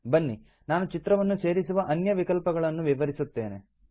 ಬನ್ನಿ ನಾನು ಚಿತ್ರವನ್ನು ಸೇರಿಸುವ ಅನ್ಯ ವಿಕಲ್ಪಗಳನ್ನು ವಿವರಿಸುತ್ತೇನೆ